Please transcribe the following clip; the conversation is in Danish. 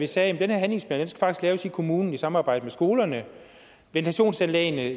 sagde at den her handlingsplan faktisk skal laves i kommunen i samarbejde med skolerne at